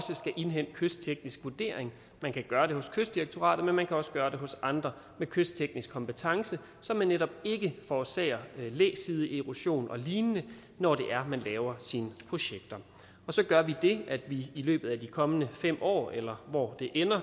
skal indhente kystteknisk vurdering man kan gøre det hos kystdirektoratet men man kan også gøre det hos andre med kystteknisk kompetence så man netop ikke forårsager læsideerosion og lignende når man laver sine projekter så gør vi det at vi i løbet af de kommende fem år eller hvor